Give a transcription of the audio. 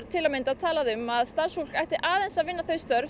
til að mynda talað um að starfsfólk ætti aðeins að vinna það